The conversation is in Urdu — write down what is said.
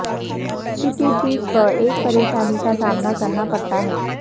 کسی چیز پر ایک پریشانی کا سامنا کرنا پڑتا ہے